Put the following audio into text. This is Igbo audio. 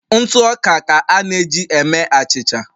ntụ ọka ka a na eji eme achịcha